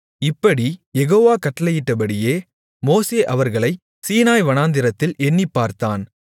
இப்படிக் யெகோவா கட்டளையிட்டபடியே மோசே அவர்களை சீனாய் வனாந்திரத்தில் எண்ணிப்பார்த்தான்